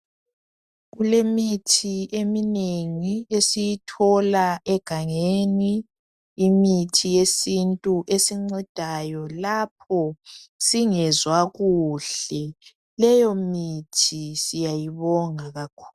Kulemithi eminengi esiyithola egangeni .Imithi yesintu esincedayo lapho singezwakuhle .Leyo mithi siyayibonga kakhulu